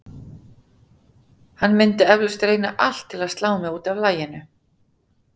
Hann myndi eflaust reyna allt til að slá mig út af laginu.